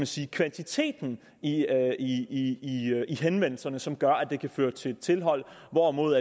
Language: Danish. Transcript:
sige kvantiteten i i henvendelserne som gør at det kan føre til tilhold hvorimod